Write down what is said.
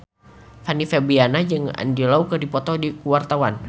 Fanny Fabriana jeung Andy Lau keur dipoto ku wartawan